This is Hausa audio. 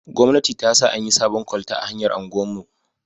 Gwamnati ta sa an yi sabon kwalta a hanyar unguwar mu